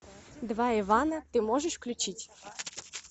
два ивана ты можешь включить